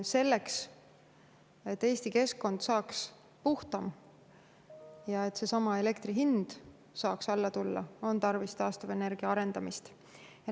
Selleks, et Eesti keskkond saaks puhtam ja et seesama elektri hind saaks alla tulla, on tarvis taastuvenergiat arendada.